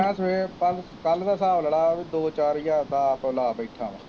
ਮੈਂ ਸਵੇਰ ਕੱਲ ਕੱਲ ਦਾ ਹਿਸਾਬ ਲਾ ਲਾ ਬਈ ਦੋ ਚਾਰ ਹਜ਼ਾਰ ਦਾ ਲਾ ਬੈਠਾ ਵਾਂ